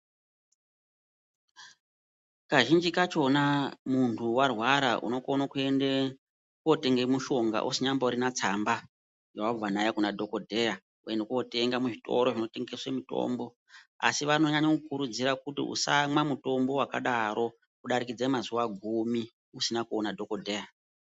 Kazhinji kachona muntu warwara unokone kuende kotenge mushonga usanyamborina tsamba yawabva nayo Kuna dhokodheya woende kotenga kuzvitoro zvinotengese mitombo asi vanonyanya kukurudzira kuti usamwa mutombo wakadaro kudarikidze mazuwa gumi usina kuona dhokodheya.